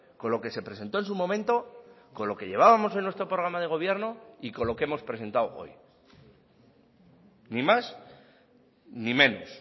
con lo que se presentó en su momento con lo que llevábamos en nuestro programa de gobierno y con lo que hemos presentado hoy ni más ni menos